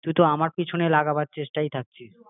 তুই তো একদম আমার পিছনে লাগাবার চেষ্টাই থাকছিস